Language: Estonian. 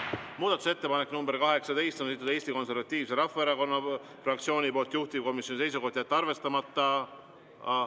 Muudatusettepaneku nr 18 on esitanud Eesti Konservatiivse Rahvaerakonna fraktsioon, juhtivkomisjoni seisukoht on jätta see arvestamata.